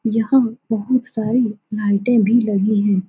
यहाँ बहोत सारी लाइटें भी लगी हैं।